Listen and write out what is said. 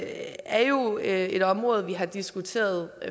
er jo et område vi har diskuteret